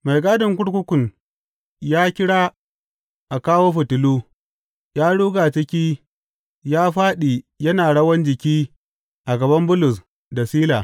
Mai gadin kurkukun ya kira a kawo fitilu, ya ruga ciki ya fāɗi yana rawan jiki a gaban Bulus da Sila.